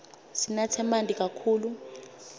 sinatse manti kakhulu